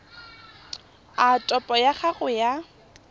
a topo ya gago ya